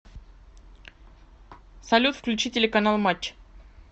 салют включи телеканал матч